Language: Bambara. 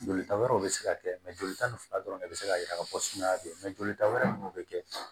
Jolita wɛrɛw bɛ se ka kɛ jolita ni fila dɔrɔn de bɛ se k'a jira ka fɔ sumaya bɛ yen jolita wɛrɛ ninnu bɛ kɛ